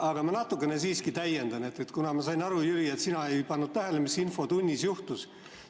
Aga ma natukene siiski täiendan, kuna ma sain aru, Jüri, et sina ei pannud tähele, mis infotunnis juhtus.